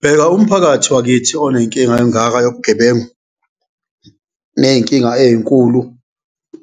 Bheka umphakathi wakithi onenkinga engaka yobugebengu ney'nkinga ey'nkulu